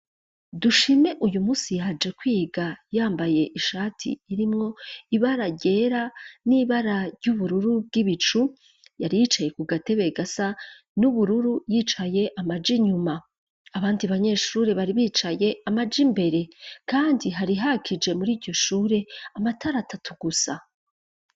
Dushime uyu musi yaje kwiga yambaye ishati irimwo ibara ryera n'ibara ry'ubururu bw'ibicu yari yicaye ku gatebe gasa n'ubururu yicaye amaja inyuma, abandi banyeshure bari bicaye amaje imbere, kandi harihakije muri iryushure amatarata tugusa.